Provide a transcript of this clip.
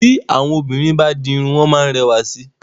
Tí àwọn obìnrin bá di irun, wọ́n máa ń rẹwà sí i.